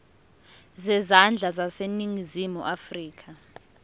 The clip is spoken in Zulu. zezandla zaseningizimu afrika